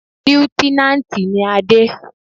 Líútínántì ni Adé